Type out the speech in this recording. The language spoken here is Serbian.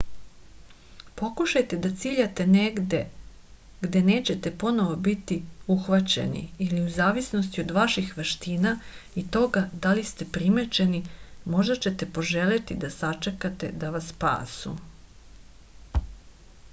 pokušajte da ciljate negde gde nećete ponovo biti uhvaćeni ili u zavisnosti od vaših veština i toga da li ste primećeni možda ćete poželeti da sačekate da vas spasu